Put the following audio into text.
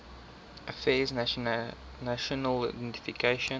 affairs national identification